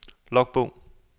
logbog